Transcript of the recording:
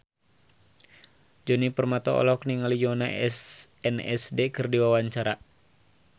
Djoni Permato olohok ningali Yoona SNSD keur diwawancara